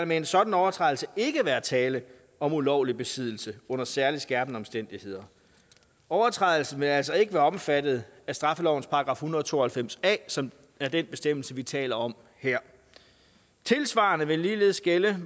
med en sådan overtrædelse ikke være tale om ulovlig besiddelse under særligt skærpende omstændigheder overtrædelsen vil altså ikke være omfattet af straffelovens § en hundrede og to og halvfems a som er den bestemmelse vi taler om her det tilsvarende vil gælde